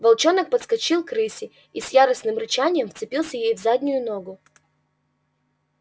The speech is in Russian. волчонок подскочил к рыси и с яростным рычанием вцепился ей в заднюю ногу